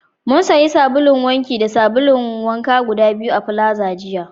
Mun sayi sabulun wanki guda biyu da sabulun wanka guda biyu a plaza jiya